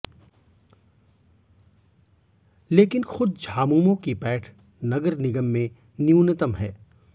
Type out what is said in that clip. लेकिन खुद झामुमो की पैठ नगर निगम में न्यूनतम है